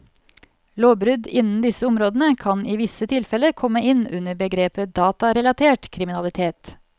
Lovbrudd innen disse områdene kan i visse tilfelle komme inn under begrepet datarelatert kriminalitet.